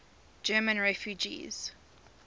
german refugees